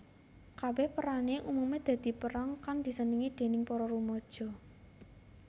Kabèh perané umumé dadi peran kang disenengi déning para rumaja